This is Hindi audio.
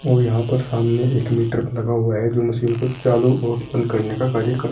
और यहां पर सामने एक मीटर लगा हुआ है जो मशीन को चालू और बंद करने का कार्य कर--